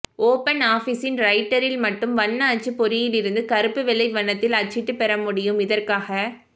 open ஆஃபிஸின் ரைட்டரில் மட்டும் வண்ண அச்சுபொறியிலிருந்து கருப்பு வெள்ளை வண்ணத்தில் அச்சிட்டு பெறமுடியும் இதற்காக